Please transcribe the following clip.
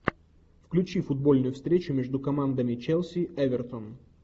включи футбольную встречу между командами челси эвертон